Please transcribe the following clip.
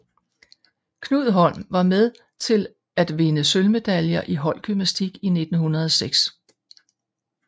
Knud Holm var med till att vinde sølvmedaljer i holdgymnastik 1906